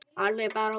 Alveg bara súr